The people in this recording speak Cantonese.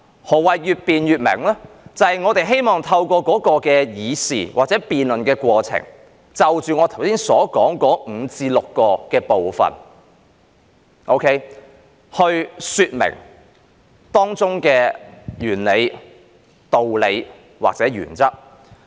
何謂越辯越明？就是我們希望透過議事或辯論過程，就着我剛才說的5至6個部分來說明當中的原理、道理或原則。